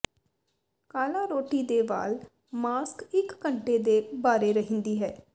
ਕਾਲਾ ਰੋਟੀ ਦੇ ਵਾਲ ਮਾਸਕ ਇਕ ਘੰਟੇ ਦੇ ਬਾਰੇ ਰਹਿੰਦੀ ਹੈ